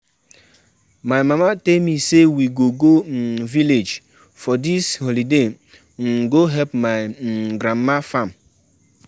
I I no know for you oo, na sewing I wan go learn wen holiday start